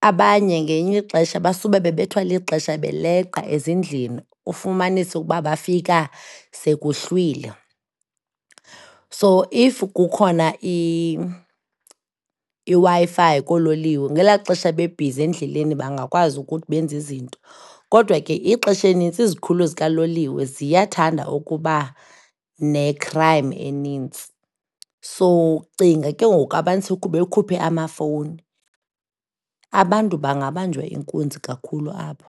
abanye ngelinye ixesha basube beleqa ixesha ezindlini, ufumanise ukuba bafika sekuhlwile. So, if kukhona iWi-Fi koololiwe ngela xesha bebhizi endleleni bangakwazi ukuthi benze izinto, kodwa ke ixesha elinintsi izikhululo zikaloliwe ziyathanda ukuba ne-crime enintsi. So, cinga ke ngoku abantu sebekhuphe amafowuni, abantu bangabanjwa inkunzi kakhulu apho.